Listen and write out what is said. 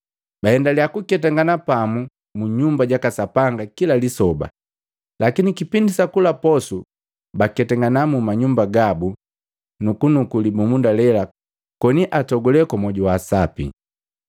Baendaliya kuketangana pamu mu Nyumba jaka Sapanga kila lisoba. Lakini kipindi sa kula posu, baketangana mu manyumba gabu na nukunuku libumunda lela koni atogule kwa mwoju wa sapi.